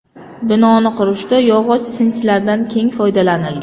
Binoni qurishda yog‘och sinchlardan keng foydalanilgan.